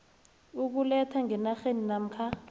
ukulethwa ngenarheni namkha